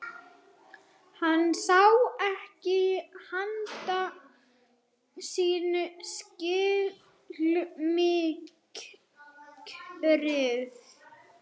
Hann sá ekki handa sinna skil, myrkrið var algjört.